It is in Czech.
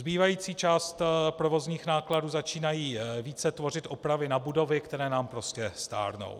Zbývající část provozních nákladů začínají více tvořit opravy na budovy, které nám prostě stárnou.